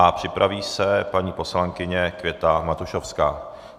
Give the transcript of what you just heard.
A připraví se paní poslankyně Květa Matušovská.